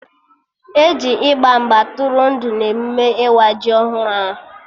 E ji ịgba mgba tụrụ ndụ na emụme ịwa ji ọhụrụ ahụ